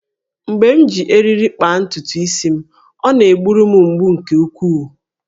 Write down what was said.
Mgbe m ji eriri kpaa ntutu isi m, ọ na-gburu m mgbu nke ukwuu